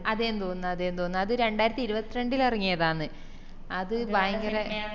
അതെന്ന് തോന്ന് അതെന്ന് തോന്ന് അത് രണ്ടായിരത്തിഇരുപത്രണ്ടറിൽ ഇറങ്ങിയതാന്ന് അത് ഭയങ്കര